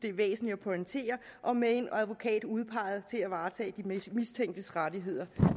er væsentligt at pointere og med en advokat udpeget til at varetage de mistænktes rettigheder